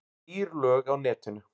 Dýr lög á netinu